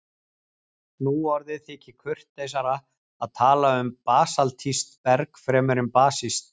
nú orðið þykir kurteisara að tala um basaltískt berg fremur en basískt